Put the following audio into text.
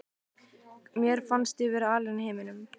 Mér fannst ég vera alein í heiminum.